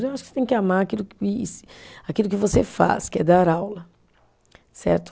Mas eu acho que você tem que amar aquilo que, aquilo que você faz, que é dar aula, certo?